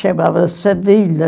Chamava-se a vila.